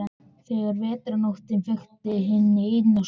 Þegar vetrarnóttin feykti henni inn sofnaði ég.